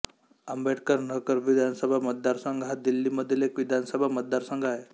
आंबेडकर नगर विधानसभा मतदारसंघ हा दिल्लीमधील एक विधानसभा मतदारसंघ आहे